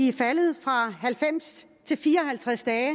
er faldet fra halvfems til fire og halvtreds dage